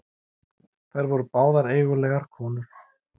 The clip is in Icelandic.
Þær voru báðar eigulegar konur.